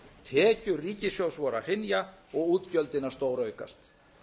tekjur ríkissjóðs voru að hrynja og útgjöldin að stóraukast